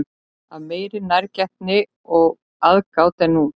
Af meiri nærgætni og aðgát en nú?